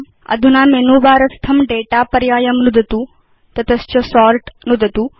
अधुना menu bar स्थं दाता पर्यायं नुदतु तत च सोर्ट् नुदतु